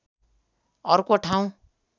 अर्को ठाउँ